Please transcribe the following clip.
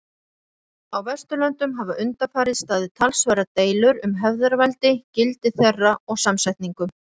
Á Vesturlöndum hafa undanfarið staðið talsverðar deilur um hefðarveldi, gildi þeirra og samsetningu.